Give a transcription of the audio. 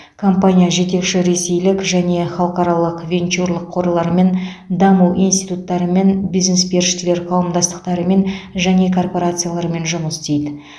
компания жетекші ресейлік және халықаралық венчурлік қорлармен даму институттарымен бизнес періштелер қауымдастықтарымен және корпорациялармен жұмыс істейді